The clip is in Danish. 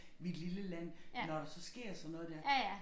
Vi et lille land når der så sker sådan noget der